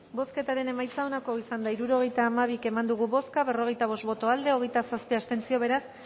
bozketaren emaitza onako izan da hirurogeita hamabi eman dugu bozka berrogeita bost boto aldekoa hogeita zazpi abstentzio beraz